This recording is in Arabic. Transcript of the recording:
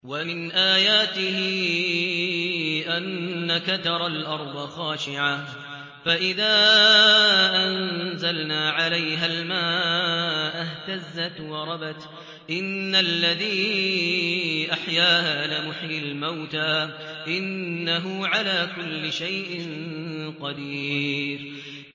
وَمِنْ آيَاتِهِ أَنَّكَ تَرَى الْأَرْضَ خَاشِعَةً فَإِذَا أَنزَلْنَا عَلَيْهَا الْمَاءَ اهْتَزَّتْ وَرَبَتْ ۚ إِنَّ الَّذِي أَحْيَاهَا لَمُحْيِي الْمَوْتَىٰ ۚ إِنَّهُ عَلَىٰ كُلِّ شَيْءٍ قَدِيرٌ